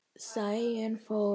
Sæunn fórnar höndum.